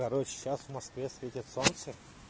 короче сейчас в москве светит солнце